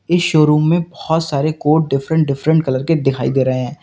इस शोरूम में बहुत सारे कोट डिफरेंट डिफरेंट कलर के दिखाई दे रहे हैं।